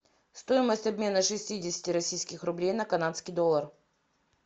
стоимость обмена шестидесяти российских рублей на канадский доллар